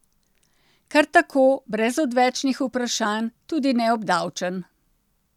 Kar tako, brez odvečnih vprašanj, tudi neobdavčen.